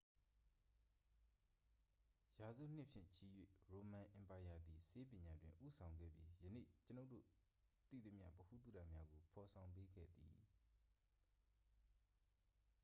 ရာစုနှစ်ဖြင့်ချီ၍ ရိုမန်အင်ပါယာသည် ဆေးပညာတွင် ဦးဆောင်ခဲ့ပြီး ယနေ့ကျွန်ုပ်တို့သိသမျှ ဗဟုသုတများကို ဖော်ဆောင်ပေးခဲ့သည်